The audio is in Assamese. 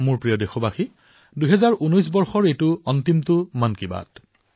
মোৰ মৰমৰ দেশবাসীসকল ২০১৯ বৰ্ষৰ এয়া অন্তিমটো মন কী বাত